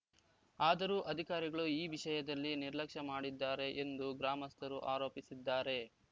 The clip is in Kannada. ಆದರೂ ಅಧಿಕಾರಿಗಳು ಈ ವಿಷಯದಲ್ಲಿ ನಿರ್ಲಕ್ಷ್ಯ ಮಾಡಿದ್ದಾರೆ ಎಂದು ಗ್ರಾಮಸ್ಥರು ಆರೋಪಿಸಿದ್ದಾರೆ